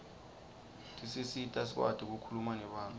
tisisita sikwati kukhuluma nebantfu